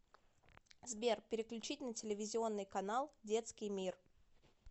сбер переключить на телевизионный канал детский мир